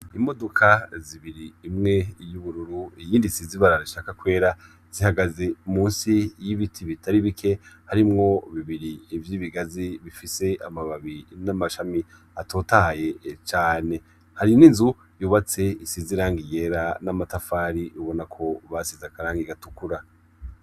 Imodoka zibiri, imwe y'ubururu iyindi isize ibara rishaka kwera, zihagaze munsi y'ibiti bitari bike, harimwo bibiri vy'ibigazi bifise amababi n'amashami atotahaye cane; hari n'inzu yubatse isize irangi ryera, n'amatafari ubona ko basize akarangi gatukura.